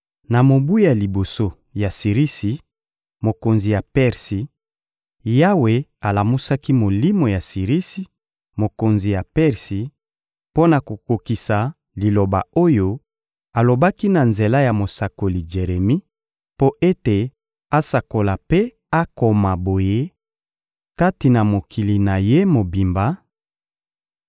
Na mobu ya liboso ya Sirisi, mokonzi ya Persi, Yawe alamusaki molimo ya Sirisi, mokonzi ya Persi, mpo na kokokisa liloba oyo alobaki na nzela ya mosakoli Jeremi, mpo ete asakola mpe akoma boye kati na mokili na ye mobimba: